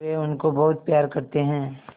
वे उनको बहुत प्यार करते हैं